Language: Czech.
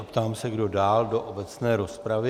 A ptám se, kdo dál do obecné rozpravy..